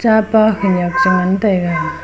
chapa khenek chu ngan taiga.